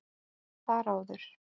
Þar áður